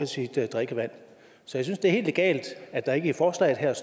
sit drikkevand så jeg synes det er helt legalt at der ikke i forslaget her